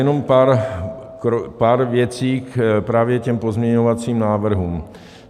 Jenom pár věcí právě k těm pozměňovacím návrhům.